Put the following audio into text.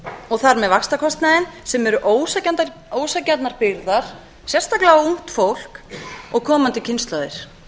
og þar með vaxtakostnaðinn sem eru ósanngjarnar byrðar sérstaklega á ungt fólk og komandi kynslóðir